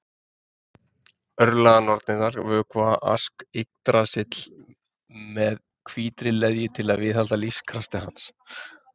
örlaganornirnar vökva ask yggdrasils með hvítri leðju til að viðhalda lífskrafti hans